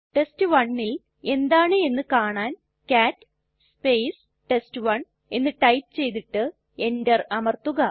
test1ൽ എന്താണ് എന്ന് കാണാൻ കാട്ട് ടെസ്റ്റ്1 എന്ന് ടൈപ്പ് ചെയ്തിട്ട് enter അമർത്തുക